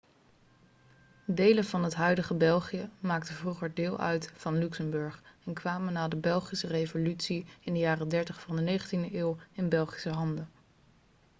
delen van het huidige belgië maakten vroeger deel uit van luxemburg en kwamen na de belgische revolutie in de jaren 30 van de 19e eeuw in belgische handen